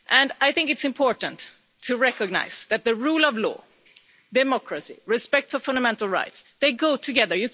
I think it is important to recognise that the rule of law, democracy and respect for fundamental rights go together.